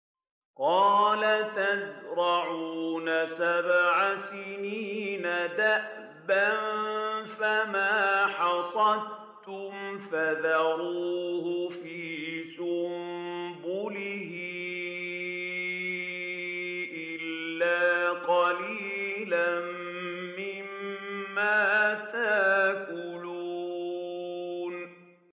قَالَ تَزْرَعُونَ سَبْعَ سِنِينَ دَأَبًا فَمَا حَصَدتُّمْ فَذَرُوهُ فِي سُنبُلِهِ إِلَّا قَلِيلًا مِّمَّا تَأْكُلُونَ